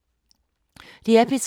DR P3